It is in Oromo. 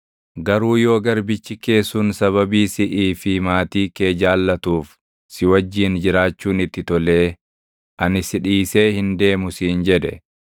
Garuu yoo garbichi kee sun sababii siʼii fi maatii kee jaallatuuf si wajjin jiraachuun itti tolee, “Ani si dhiisee hin deemu” siin jedhe,